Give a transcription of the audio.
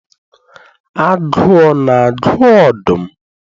Agụụ na-agụ ọdụm?